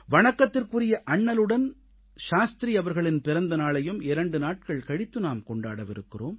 வணக்கத்திற்குரிய அண்ணலுடன் சாஸ்திரி அவர்களின் பிறந்த நாளையும் இரண்டு நாட்கள் கழித்து நாம் கொண்டாடவிருக்கிறோம்